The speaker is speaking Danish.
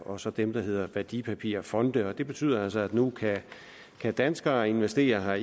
og så dem der hedder værdipapirfonde og det betyder altså at nu kan kan danskere investere